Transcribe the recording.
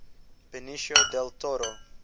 benicio del toro